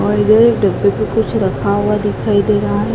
और ये डब्बे पे कुछ रखा हुआ दिखाई दे रहा है।